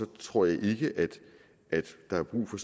tror jeg ikke der er brug for